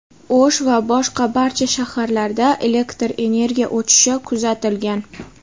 O‘sh va boshqa barcha shaharlarda elektr energiya o‘chishi kuzatilgan.